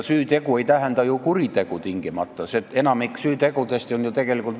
Süütegu ei tähenda ju tingimata kuritegu, enamik süütegudest on väärteod.